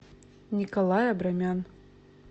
николай абрамян